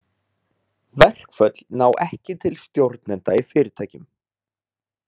Verkföll ná ekki til stjórnenda í fyrirtækjum.